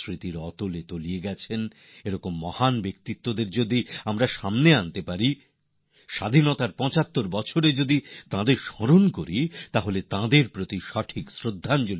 সময়ের সঙ্গে সঙ্গে মানুষ ভুলে গিয়েছে এমন মহান ব্যক্তিদের যদি আমরা স্বাধীনতার ৭৫ বছরে সামনে নিয়ে আসি তাহলে তাঁদের প্রতি প্রকৃত শ্রদ্ধাঞ্জলি হবে